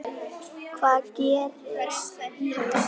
Hvað gerist í haust?